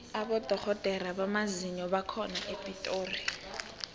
abodorhodere bamazinyo bakhona epitori